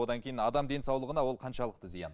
одан кейін адам денсаулығына ол қаншалықты зиян